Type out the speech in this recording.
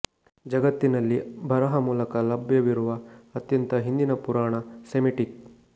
ಜಗತ್ತಿನಲ್ಲಿ ಬರಹ ಮೂಲಕ ಲಭ್ಯವಿರುವ ಅತ್ಯಂತ ಹಿಂದಿನ ಪುರಾಣ ಸೆಮಿಟಿಕ್